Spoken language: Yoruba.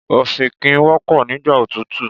Ọ̀fìnkìn wọ́pọ̀ nígbà òtútù.